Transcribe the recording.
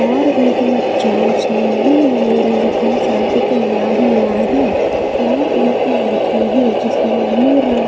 और एक बच्चा उसने भी नीले रंग का शर्ट पहना हुआ है और एक लड़की है जिसने ब्लू रंग--